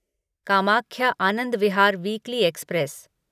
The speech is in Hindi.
Kamakhya Anand Vihar weekly express